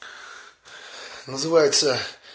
называется